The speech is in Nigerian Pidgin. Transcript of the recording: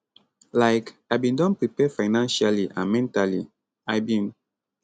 like i bin don prepare financially and mentally i bin